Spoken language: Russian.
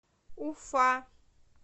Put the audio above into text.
уфа